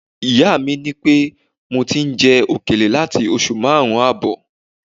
Ìyá mi ni mo ti ń jẹ òkèlè láti oṣù márùn-ún ààbọ̀